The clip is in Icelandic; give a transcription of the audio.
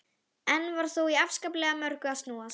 Enn var þó í afskaplega mörgu að snúast.